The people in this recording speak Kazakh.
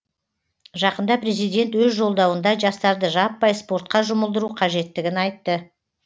жақында президент өз жолдауында жастарды жаппай спортқа жұмылдыру қажеттігін айтты